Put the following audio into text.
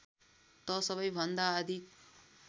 त सबैभन्दा अधिक